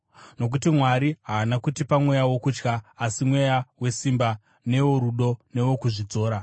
Nokuti Mwari haana kutipa mweya wokutya, asi mweya wesimba, neworudo newokuzvidzora.